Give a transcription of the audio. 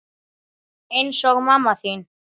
Eins og mamma þín.